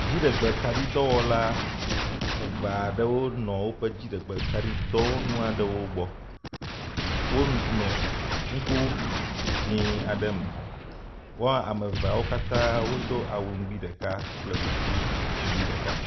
Dziɖegbekaɖi dɔwɔla eve aɖewo nɔ woƒe dziɖegbekaɖidɔwɔnu aɖewo gbɔ. Wonɔ nugo dzɛ̃ aɖe me. Wo ame eveawo katã do awu nugbi ɖeka kple kuku nugbi ɖeka.